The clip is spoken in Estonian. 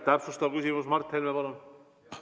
Täpsustav küsimus, Mart Helme, palun!